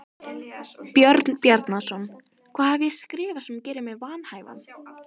Björn Bjarnason: Hvað hef ég skrifað sem gerir mig vanhæfan?